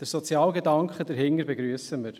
Den sozialen Gedanken dahinter begrüssen wir.